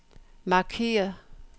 markeder